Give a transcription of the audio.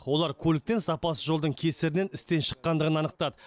олар көліктің сапасыз жолдың кесірінен істен шыққандығын анықтады